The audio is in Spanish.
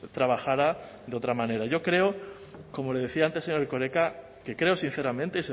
trabajara de otra manera yo creo como le decía antes señor erkoreka que creo sinceramente